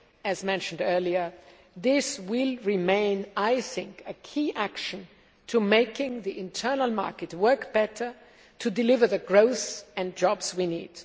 and, as was mentioned earlier, this will remain a key action to making the internal market work better, to deliver the growth and jobs we need.